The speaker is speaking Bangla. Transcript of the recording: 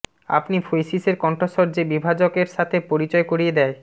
আপনি ফৈসিসের কণ্ঠস্বর যে বিভাজক এর সাথে পরিচয় করিয়ে দেয়